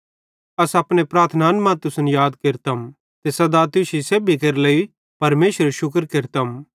अस अपने प्रार्थनान मां तुसन याद केरतम ते सदा तुश्शी सेब्भी केरे लेइ परमेशरेरू शुक्र केरतम